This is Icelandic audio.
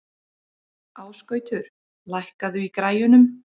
Ásgautur, lækkaðu í græjunum.